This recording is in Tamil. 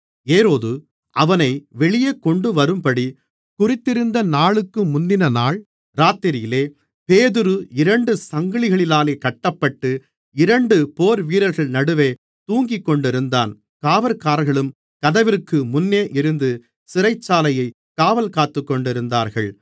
ஏரோது அவனை வெளியே கொண்டுவரும்படி குறித்திருந்த நாளுக்கு முந்தினநாள் இராத்திரியிலே பேதுரு இரண்டு சங்கிலிகளினாலே கட்டப்பட்டு இரண்டு போர்வீரர்கள் நடுவே தூங்கிக் கொண்டிருந்தான் காவற்காரர்களும் கதவிற்கு முன்னே இருந்து சிறைச்சாலையைக் காவல்காத்துக்கொண்டிருந்தார்கள்